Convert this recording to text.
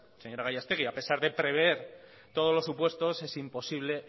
señora gallastegui a pesar de prever todos los supuestos es imposible